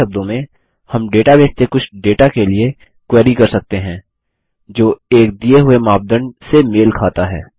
दूसरे शब्दों में हम डेटाबेस से कुछ डेटा के लिए क्वेरी कर सकते हैं जो एक दिए हुए मापदंड से मेल खाता है